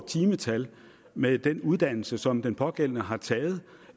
timetal med den uddannelse som den pågældende har taget